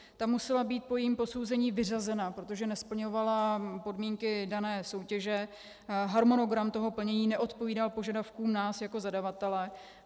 Ta musela být po jejím posouzení vyřazena, protože nesplňovala podmínky dané soutěže, harmonogram toho plnění neodpovídal požadavkům nás jako zadavatele.